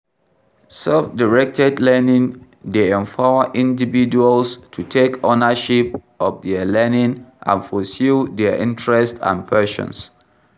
Self-directed learning dey empower individuals to take ownership of dia learning and pursue dia interest and passions.